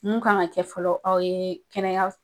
Mun kan ka kɛ fɔlɔ aw ye kɛnɛya